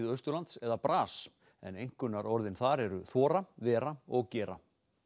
Austurlands eða en einkunnarorðin eru þora vera og gera